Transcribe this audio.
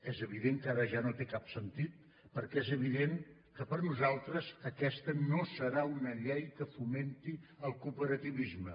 és evident que ara ja no té cap sentit perquè és evident que per nosaltres aquesta no serà una llei que fomenti el cooperativisme